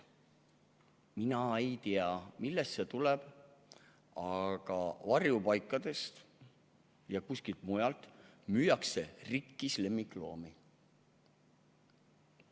Mina ei tea, millest see tuleb, aga varjupaikadest ja kuskilt mujaltki müüakse inimestele rikkis lemmikloomi.